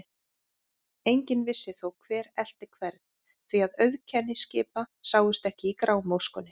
Enginn vissi þó, hver elti hvern, því að auðkenni skipa sáust ekki í grámóskunni.